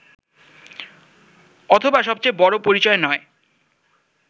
অথবা সবচেয়ে বড়ো পরিচয় নয়